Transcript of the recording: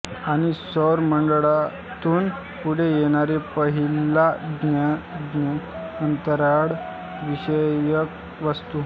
आणि सौर मंडळातून पुढे येणारे पहिला ज्ञात अंतराळ विषयक वस्तु